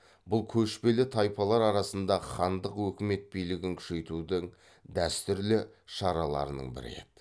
бұл көшпелі тайпалар арасында хандық өкімет билігін күшейтудің дәстүрлі шараларының бірі еді